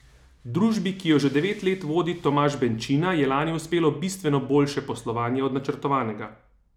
Družbi, ki jo že devet let vodi Tomaž Benčina, je lani uspelo bistveno boljše poslovanje od načrtovanega.